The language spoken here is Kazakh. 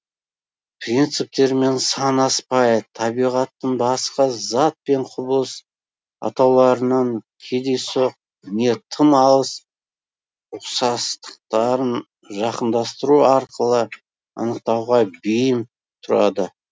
принциптерімен санаспай табиғатын басқа зат пен құбылыс атауларының кедейсоқ не тым алыс ұқсастықтарын жақындастыру арқылы анықтауға бейім тұрады